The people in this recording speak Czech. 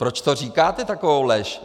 Proč to říkáte, takovou lež?